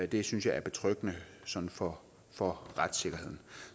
det synes jeg er betryggende sådan for for retssikkerheden